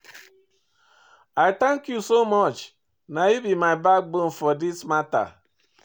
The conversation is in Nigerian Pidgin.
I thank you so much, na you be my backbone for this mata.